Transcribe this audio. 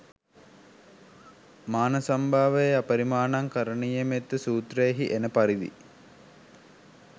මානසංභාවයේ අපරිමාණං කරණීයමෙත්ත සූත්‍රයෙහි එන පරිදි